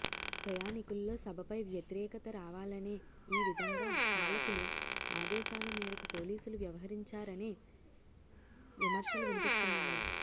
ప్రయాణికుల్లో సభపై వ్యతిరేకత రావాలనే ఈ విధంగా పాలకులు ఆదేశాల మేరకు పోలీసులు వ్యవహరించారనే విమర్శలు వినిపిస్తున్నాయి